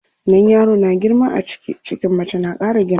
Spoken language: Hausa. Idan yaro na girma a ciki, cikin mace na ƙara girma.